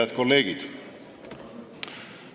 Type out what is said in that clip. Head kolleegid!